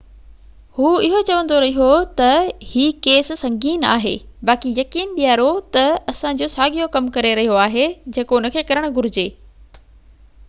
هو اهو چوندو رهيو ته هي ڪيس سنگين آهي باقي يقين ڏياريو ته اسان جو ساڳيو ڪم ڪري رهيو آهي جيڪو ان کي ڪرڻ گهجي